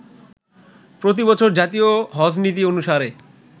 প্রতিবছর জাতীয় হজ্জ্বনীতি অনুসারে